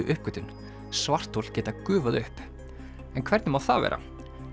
uppgötvun svarthol geta gufað upp hvernig má það vera